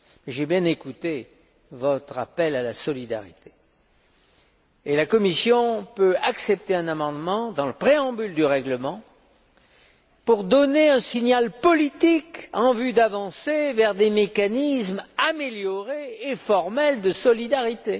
J'ai bien écouté votre appel à la solidarité et la Commission peut accepter un amendement dans le préambule du règlement, pour donner un signal politique dans le sens de la création de mécanismes améliorés et formels de solidarité.